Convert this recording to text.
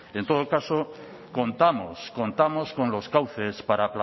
en todo caso contamos contamos con los cauces para